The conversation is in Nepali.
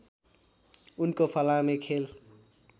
उनको फलामे खेल